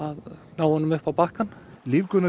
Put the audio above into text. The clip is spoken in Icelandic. ná honum upp á bakkann